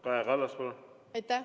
Kaja Kallas, palun!